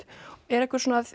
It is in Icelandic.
er einhver svona